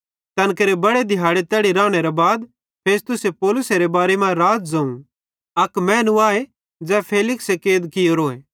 तैन केरे बड़े दिहाड़े तैड़ी रानेरे बाद फेस्तुसे पौलुसेरे बारे मां राज़े ज़ोवं अक मैनू आए ज़ै फेलिक्से कैद कियोरोए